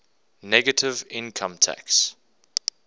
negative income tax